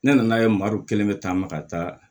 Ne nan'a ye madu kelen bɛ taa ma ka taa